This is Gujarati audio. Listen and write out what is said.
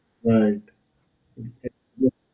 right.